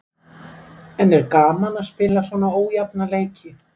En er gaman að spila svona ójafna leiki?